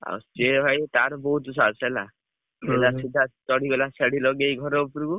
ଆଉ ସିଏ ଭାଇ ତାର ବହୁତ ସାହସ୍‌ ହେଲା ଥିଲା ସିଧା ଚଢିଗଲା ସେଢି ଲଗେଇକି ଘର ଉପରକୁ,